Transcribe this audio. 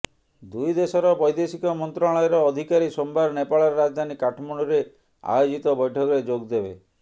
ଦୁଇ ଦେଶର ବୈଦେଶିକ ମନ୍ତ୍ରଣାଳୟର ଅଧିକାରୀ ସୋମବାର ନେପାଳର ରାଜଧାନୀ କାଠମାଣ୍ଡୁରେ ଆୟୋଜିତ ବୈଠକରେ ଯୋଗ ଦେବେ